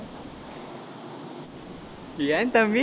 ஏன் தம்பி